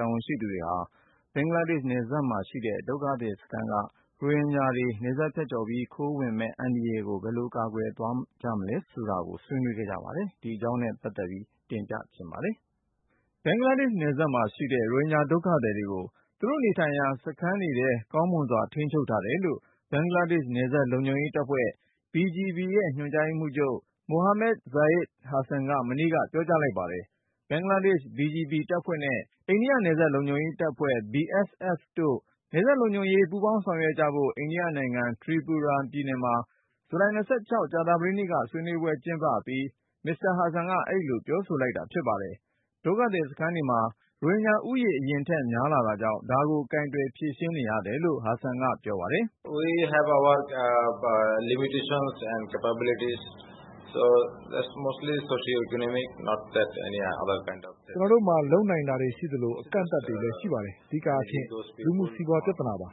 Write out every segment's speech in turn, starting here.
တာဝန်ရှိသူတွေဟာ ဘင်္ဂလားဒေ့ရှ်နယ်စပ်မှာရှိတဲ့ ဒုက္ခသည်စခန်းက ရိုဟင်ဂျာတွေ နယ်စပ်ဖြတ်ကျော်ပြီး ခိုးဝင်မယ့် အန္တရာယ်ကို ဘယ်ကိုကာကွယ်သွားကြမလဲဆိုတာကို ဆွေးနွေးခဲ့ကြပါတယ်။ ဒီအကြောင်းနဲ့ ပတ်သက်ပြီး ကိုဉာဏ်ဝင်းအောင်က တင်ပြထားပါတယ်။ ဘင်္ဂလားဒေ့ရှ်နယ်စပ်မှာရှိတဲ့ ရိုဟင်ဂျာဒုက္ခသည်တွေကို သူတို့နေထိုင်ရာ စခန်းတွေထဲ ကောင်းမွန်စွာ ထိန်းချုပ်ထားတယ်လို့ ဘင်္ဂလားဒေ့ရှ် နယ်စပ် လုံခြုံရေးတပ်ဖွဲ့ BGB ရဲ့ ညွှန်ကြားရေးမှူးချုပ် Mohammad Zahid Hasan က မနေ့က ပြောကြား လိုက်ပါတယ်။ ဘင်္ဂလားဒေ့ရှ် BGB တပ်ဖွဲ့နဲ့ အိန္ဒိယ နယ်စပ်လုံခြုံရေးတပ်ဖွဲ့ BSF တို့ နယ်စပ်လုံခြုံရေး ပူးပေါင်းဆောင်ရွက်ကြဖို့ အိန္ဒိယနိုင်ငံ Tripura ပြည်နယ်မှာ ဇူလိုင် ကြာသာပတေးနေ့က ဆွေးနွေးပွဲ ကျင်းပအပြီး Hasan က အဲဒီလို ပြောဆိုတာဖြစ်ပါတယ်။ ဒုက္ခသည်စခန်းတွေမှာ ရိုဟင်ဂျာဦးရေ အရင်ထက် များလာတာကြောင့် ဒါကို ကိုင်တွယ်ဖြေရှင်းနေရတယ်လို့ Hasan ကပြောပါတယ်။ "ကျနော်တို့မှာ လုပ်နိုင်တာတွေရှိသလို အကန့်အသတ်တွေလည်း ရှိပါတယ်။ အဓိကအားဖြင့် လူမှုစီးပွား ပြသနာပါပဲ။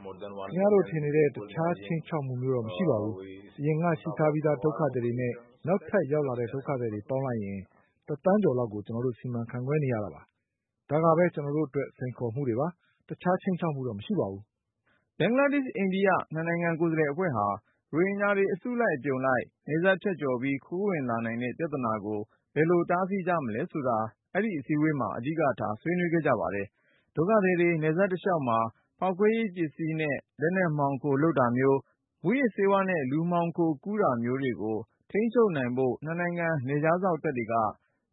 ခင်ဗျားတို့တွေးထင်နေတဲ့ အခြား ခြိမ်းခြောက်မှုမျိုးတော့ မရှိပါဘူး။ အရင်က ရှိထားပြီးသား ဒုက္ခသည်တွေနဲ့ နောက်ထပ်ရောက်လာတဲ့ ဒုက္ခသည်တွေ ပေါင်းလိုက်ရင် သန်းကျော် လောက်ကို ကျနော်တို့ စီမံခန့်ခွဲနေရတာပါ။ ဒါကပဲ ကျနော်တို့အတွက် စိန်ခေါ်မှုပါ။ အခြား ခြိမ်းခြောက်မှုတော့ မရှိပါဘူး။" ဘင်္ဂလားဒေ့ရှ်- အိန္ဒိယ နှစ်နိုင်ငံ ကိုယ်စားလှယ်အဖွဲ့ဟာ ရိုဟင်ဂျာတွေ အစုအပြုံလိုက် နယ်စပ်ဖြတ်ကျော်ပြီး ခိုးဝင်လာနိုင်တဲ့ပြသနာကို ဘယ်လိုတားဆီး ကြမလဲဆိုတာ အဲဒီစည်းဝေးပွဲမှာ အဓိကထား ဆွေးနွေးခဲ့ကြပါတယ်။ ဒုက္ခသည်တွေ နယ်စပ်တလျှောက်မှာ ဖေါက်ခွဲရေးပစ္စည်းနဲ့ လက်နက်မှောင်ခို လုပ်တာမျိုး၊ မူးယစ်ဆေးဝါးနဲ့ လူမှောင်ခို ကူးတာမျိုးတွေကို ထိန်းချုပ်နိုင်ဖို့ နှစ်နိုင်ငံ နယ်ခြားစောင့်တပ်တွေက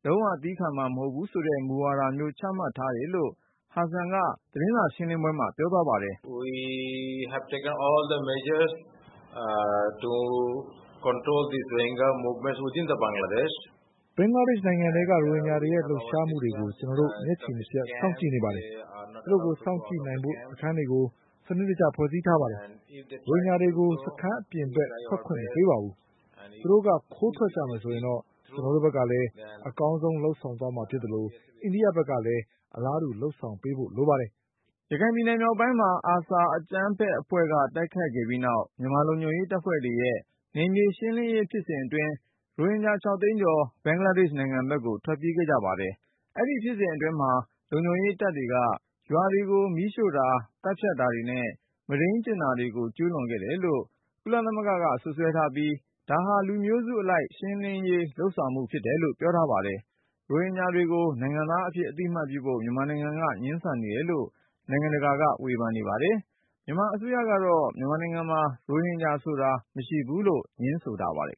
လုံးဝသည်းခံမှာ မဟုတ်ဘူးဆိုတဲ့ မူဝါဒမျိုး ချမှတ်ထားတယ်လို့ ဟာဆန်က သတင်းစာရှင်းလင်းပွဲမှာ ပြောသွားပါတယ်။ "ဘင်္ဂလားဒေ့ရှ်နိုင်ငံထဲက ရိုဟင်ဂျာတွေရဲ့လှုပ်ရှားမှုတွေကို ကျနော်တို့ မျက်ခြေမပြတ် စောင့်ကြည့်နေပါတယ်။ သူတို့ကို စောင့်ကြည့်နိုင်ဖို့ စခန်းတွေကို စနစ်တကျ ဖွဲ့စည်းထားပါတယ်။ ရိုဟင်ဂျာတွေကို စခန်းအပြင်ဘက် ထွက်ခွင့်မပေးပါဘူး။ သူတို့က ခိုးထွက်ကြမယ်ဆိုရင်တော့ ကျနော်တို့ဘက်ကလည်း အကောင်းဆုံး လုပ်ဆောင်သွားမှာဖြစ်သလို၊ အိန္ဒိယဘက်ကလည်း အလားတူ လုပ်ဆောင်ပေးဖို့ လိုပါတယ်။" ရခိုင်ပြည်နယ်မြောက်ပိုင်းမှာ ARSA အကြမ်းဖက်အဖွဲ့က တိုက်ခိုက်ခဲ့ပြီးနောက် မြန်မာလုံခြုံရေးတပ်တွေရဲ့ နယ်မြေရှင်းလင်းရေးဖြစ်စဉ်အတွင်း ရိုဟင်ဂျာ ၆ သိန်းကျော် ဘင်္ဂလားဒေ့ရှ်နယ်စပ်ကို ထွက်ပြေးခဲ့ကြပါတယ်။ အဲဒီဖြစ်စဉ်အတွင်း လုံခြုံရေးတပ်တွေက ရွာတွေကို မီးရှို့တာ၊ သတ်ဖြတ်တာတွေနဲ့ မုဒိန်းကျင့်တာတွေကို ကျူးလွန်ခဲ့တယ်လို့ ကုလသမဂ္ဂက စွပ်စွဲထားပြီး ဒါဟာ လူမျိုးစုအလိုက် ရှင်းလင်းရေးလုပ်ဆောင်မှု ဖြစ်တယ်လို့ ပြောထားပါတယ်။ ရိုဟင်ဂျာတွေကို နိုင်ငံသားအဖြစ်အသိအမှတ်ပြုဖို့ မြန်မာနိုင်ငံက ငြင်းဆန်နေတယ်လို့ နိုင်ငံတကာက ဝေဖန်နေပါတယ်။ မြန်မာအစိုးရကတော့ မြန်မာနိုင်ငံမှာ ရိုဟင်ဂျာ မရှိဘူးလို့ ငြင်းဆိုထားပါတယ်